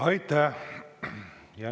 Aitäh!